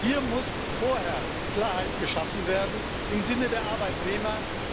Hier muss vorher Klarheit geschaffen werden im Sinne der Arbeitnehmer.